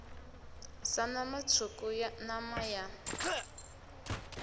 sa nama tswuku nama ya